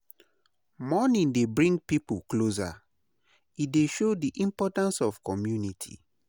Mourning dey bring pipo closer; e dey show the importance of community.